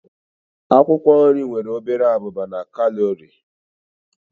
Akwụkwọ nri nwere obere abụba na kalori.